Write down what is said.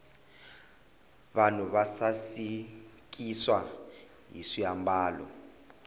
vanhu va sasikiswa hi swiambalo